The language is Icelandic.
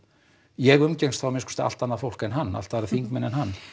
ég umgengst þá að minnsta kosti allt annað fólk en hann allt aðra þingmenn en hann